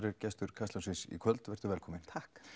er gestur Kastljósins í kvöld velkomin